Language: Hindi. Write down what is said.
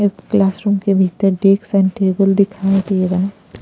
क्लासरूम के भीतर डेक्स एंड टेबल दिखाई दे रहा है।